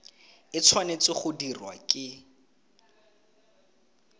e tshwanetse go dirwa ke